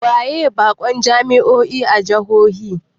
Waye bakon jami'o'in jihohi?